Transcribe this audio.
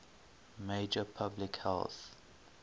major public health